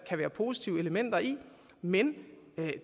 kan være positive elementer i men